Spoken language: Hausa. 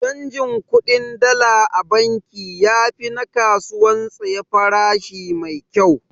Canjin kuɗin Dala a banki yafi na kasuwan tsaye farashi maikyau.